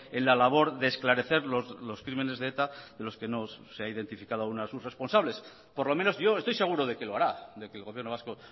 en la labor de esclarecer los crímenes de eta de los que no se ha identificado aún a sus responsables por lo menos yo estoy seguro de que lo hará de que el gobierno vasco